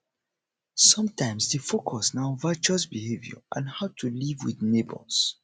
sometimes di focus na on virtuous behavior and how to live with di neigbours